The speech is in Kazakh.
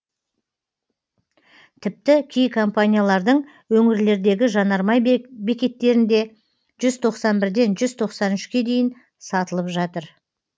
тіпті кей компаниялардың өңірлердегі жанармай бекеттерінде жүз тоқсан бірден жүз тоқсан үшке дейін сатылып жатыр